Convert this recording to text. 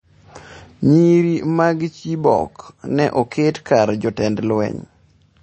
Nyiri mag Chibok ne oket kar jotend lweny